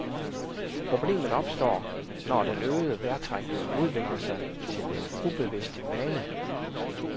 Problemet opstår, når den øgede vejrtrækning udvikler sig til en ubevidst vane.